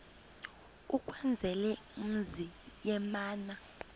ukwenzela umzi yamana